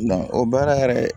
o baara yɛrɛ